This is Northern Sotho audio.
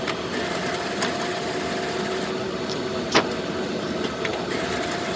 ke mothopo o mogolo wa